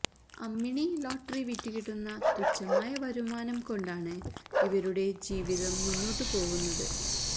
Ammini lottery വിറ്റ് കിട്ടുന്ന തുച്ഛമായ വരുമാനം കൊണ്ടാണ് ഇവരുടെ ജീവിതം മുന്നോട്ട് പോവുന്നത്